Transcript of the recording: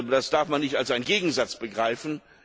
Das darf man nicht als Gegensatz begreifen!